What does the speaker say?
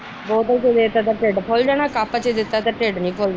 ਬੋਤਲ ਚ ਦੇਤਾ ਤਾ ਢਿੱਡ ਫੁਲ ਜਾਣਾ ਕੱਪ ਚ ਦੇਤਾ ਤਾ ਢਿੱਡ ਨੀ ਫੁਲਦਾ।